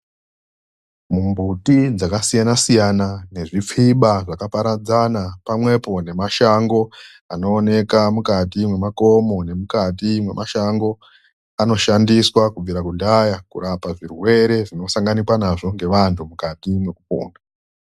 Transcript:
MUMBUTI DZAKASIYANA SIYANA NEZVIPFIBA ZVAKAPARADZANA, PAMWEPO NEMASHANGO ANOONEKWA MUKATI MEMAKOMO NEMUKATI MEMASHANGO, ANOSHANDISWA KUBVIRA KUDHAYA KURAPA ZVIRWERE ZVINOSANGANIKWA NAZVO NEVANHU MUKATI MEKUPONA.